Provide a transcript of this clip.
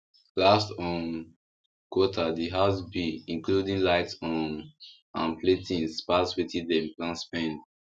last um quarter the house bills including light um and play things pass wetin dem plan spend